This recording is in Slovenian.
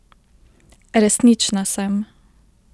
Resnična sem!